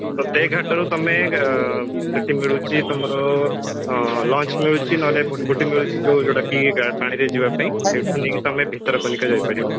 ତ ସେଇ ଘାଟରୁ ଆଁ ତମେ ସେଠି ମିଳୁଛି ତମର ଆଁ launch ମିଳୁଛି ନହେଲେ ଗୋଟେ ମିଳୁଛି ଯଉ ଯୋଉଟାକି ପାଣିରେ ଯିବ ପାଇଁ ସେଇଟା ନେଇକି ତମେ ଭିତରକନିକା ଯାଇ ପାରିବ